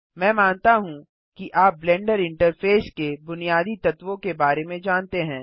मैं मानता हूँ कि आप ब्लेंडर इंटरफेस के बुनियादी तत्वों के बारे में जानते हैं